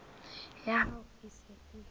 ya hao e se e